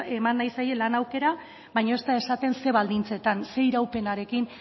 eman nahi zaie lan aukera baina ez da esaten zein baldintzetan zein iraupenarekin